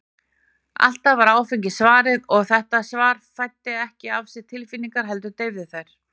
Alltaf var áfengi svarið, og þetta svar fæddi ekki af sér tilfinningar, heldur deyfði þær.